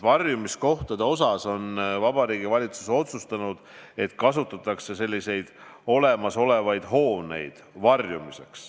Varjumiskohtade osas on Vabariigi Valitsus otsustanud, et kasutatakse olemasolevaid hooneid.